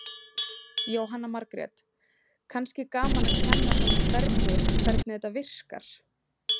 Jóhanna Margrét: Kannski gaman að kenna svona hvernig, hvernig þetta virkar?